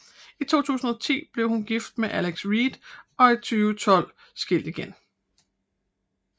I 2010 blev hun gift med Alex Reid og i 2012 skilt igen